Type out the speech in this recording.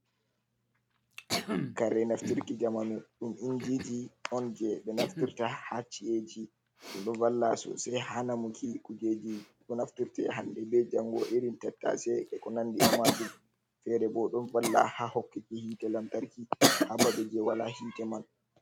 Kare naftirki jamanu ɗum injiji on, jey ɓe naftirta haa ci’eji ɗo, ɗon valla sosay haa namuki kujeji bo naftirta ,hannde be janngo irin tattase be ko nandi e maajum. Feere bo ɗon valla haa hokkiti yiite lantarki haa babe jey wala yiite man.